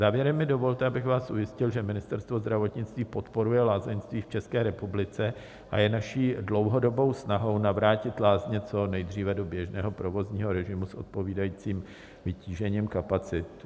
Závěrem mi dovolte, abych vás ujistil, že Ministerstvo zdravotnictví podporuje lázeňství v České republice a je naší dlouhodobou snahou navrátit lázně co nejdříve do běžného provozního režimu s odpovídajícím vytížením kapacit.